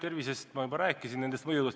Tervisest ma juba rääkisin.